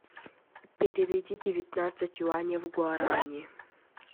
переведи девятнадцать юаней в гуарани